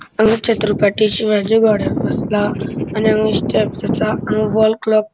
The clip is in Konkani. हांगा छत्रपती शिवाजी घोड्यार बसला. आणि हांगा स्टेप्स असा. हांगा वॉलक्लॉक --